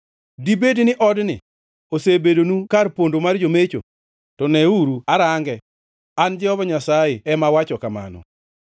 Dibedi ni odni, ma iluongogo Nyinga, osebedonu kar pondo mar jomecho? To neuru arange! An Jehova Nyasaye ema asewacho kamano.